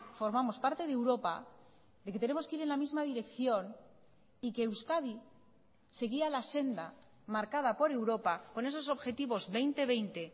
formamos parte de europa y que tenemos que ir en la misma dirección y que euskadi seguía la senda marcada por europa con esos objetivos dos mil veinte